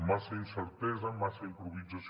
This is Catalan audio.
massa incertesa massa improvisació